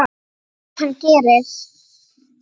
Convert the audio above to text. Sem hann gerir.